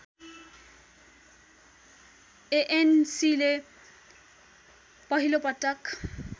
एएनसीले पहिलोपटक